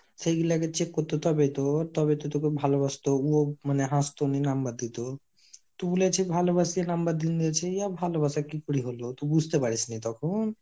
সেই গুলাআগে check করতো তবে তো তবে তো তোকে ভালোবাসতো ও মানে হাসতো নি, number দিতো তু বুলেছি ভালোবসি number দিন দিয়েছে ইয়া ভালোবাসা কি করে হলো তুই বুঝতে পারিসনি তখন ?